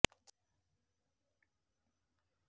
ଚାଲିବୁ ତୁ ଯେଉଁ ବାଟେ ଯେଉଁ ଚଟାଣରେ ରଖିବୁ ତୋ ପାଦ